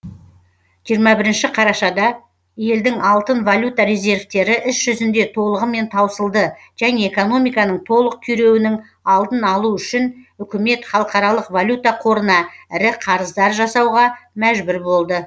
жиырма бірінші қарашада елдің алтын валюта резервтері іс жүзінде толығымен таусылды және экономиканың толық күйреуінің алдын алу үшін үкімет халықаралық валюта қорына ірі қарыздар жасауға мәжбүр болды